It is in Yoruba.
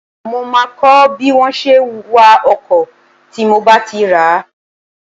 Mó máa kọ́ bí wọn ṣe wa ọkọ̀ tí mo bá ti rà á